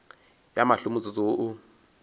ya mahlo motsotso wo o